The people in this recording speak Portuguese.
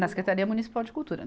Na Secretaria Municipal de Cultura.